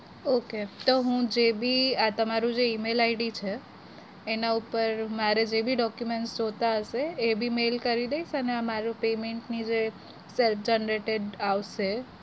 Okay તો હું જેબી આ તમારું જે emailI'D છે. એના ઉપર મારું જેબી document જોઈતા હશે એબી mail કરી દઈશ. અને આ મારું payment ની જે self generated આવશે.